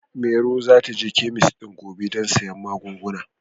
Maro za ta je kemis ɗin gobe don sayen magunguna.